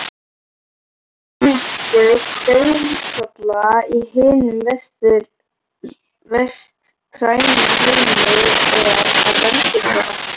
Helmingur dauðsfalla í hinum vestræna heimi er af völdum þeirra.